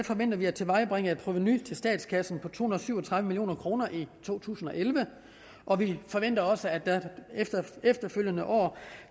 forventer at tilvejebringe et provenu til statskassen på to hundrede og syv og tredive million kroner i to tusind og elleve og vi forventer også at der efterfølgende år